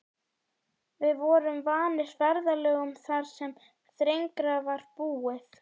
Við vorum vanir ferðalögum þar sem þrengra var búið.